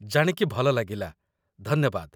ଜାଣିକି ଭଲ ଲାଗିଲା, ଧନ୍ୟବାଦ